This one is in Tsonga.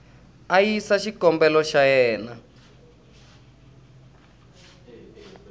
a yisa xikombelo xa yena